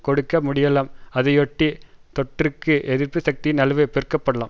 கொடுக்க முடியலாம் அதையொட்டி தொற்றுக்கு எதிர்ப்புசக்தியின் அளவு பெருக்கப்படலாம்